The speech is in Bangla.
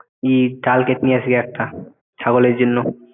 ই ডাল কেটে নিয়ে আসিগে একটা ছাগলের জন্য